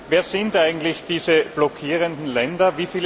Wer sind eigentlich diese blockierenden Länder?